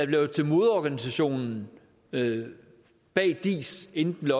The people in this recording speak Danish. blev til moderorganisationen bag diis inden den